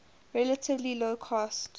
relatively low cost